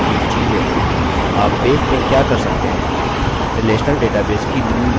आप base में क्या कर सकते हैं relational database की मूल बातें